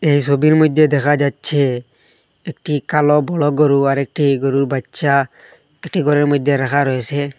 এ সবির মইধ্যে দেখা যাচ্ছে একটি কালো বড় গরু আর একটি গরুর বাচ্চা এ কটি ঘরের মধ্যে রাখা রয়েসে।